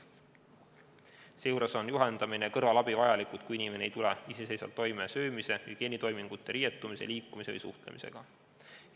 Seejuures on juhendamine ja kõrvalabi vajalikud siis, kui inimene ei tule iseseisvalt toime söömise, hügieenitoimingute, riietumise, liikumise või suhtlemisega.